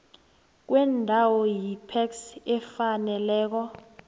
kweembawo yipac efaneleko